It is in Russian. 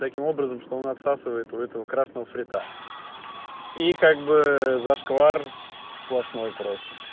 таким образом что он отсасывает у этого красного фрита и как бы зашквар сплошной просто